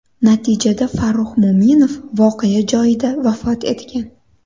Natijada Farruh Mo‘minov voqea joyida vafot etgan.